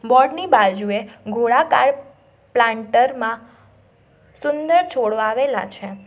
Board ની બાજુએ ગોળાકાર પ્લાન્ટર માં સુંદર છોડ વાવેલા છે.